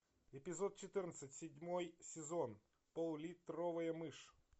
эпизод четырнадцать седьмой сезон поллитровая мышь